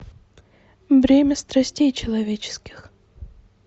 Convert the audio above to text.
бремя страстей человеческих